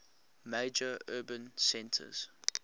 major urban centres